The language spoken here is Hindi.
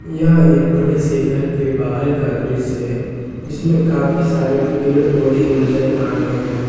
यह एक बड़े से घर के बाहर का दृश्य है जिसमें काफी सारे पेड़ पौधे नजर आ रहे हैं।